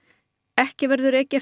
ekki verður ekið